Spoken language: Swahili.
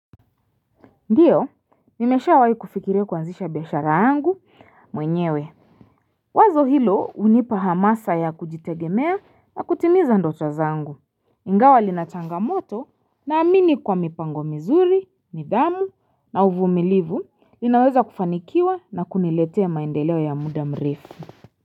Ndiyo, nimeshawahi kufikiria kuanzisha biashara yangu mwenyewe. Wazo hilo hunipa hamasa ya kujitegemea na kutimiza ndoto zangu. Ingawa lina changamoto naamini kwa mipango mizuri, nidhamu na uvumilivu ninaweza kufanikiwa na kuniletea maendeleo ya muda mrefu.